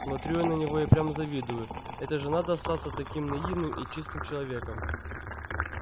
смотрю я на него и прям завидую это же надо остаться таким наивным и чистым человеком